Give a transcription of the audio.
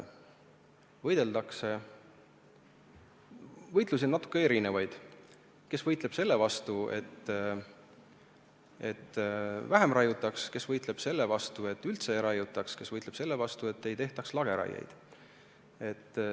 Võitlusi on natuke erinevaid: kes võitleb selle eest, et vähem raiutaks, kes võitleb selle eest, et üldse ei raiutaks, kes võitleb selle eest, et ei tehtaks lageraiet.